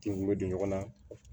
K'i bɛ don ɲɔgɔnna